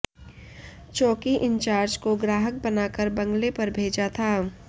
चौकी इंचार्ज को ग्राहक बनाकर बंगले पर भेजा था